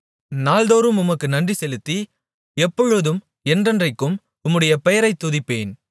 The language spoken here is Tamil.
நாள்தோறும் உமக்கு நன்றிசெலுத்தி எப்பொழுதும் என்றென்றைக்கும் உம்முடைய பெயரைத் துதிப்பேன்